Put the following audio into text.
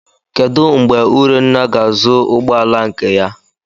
Kedụ mgbe Urunna ga-azụ ụgbọala nke ya?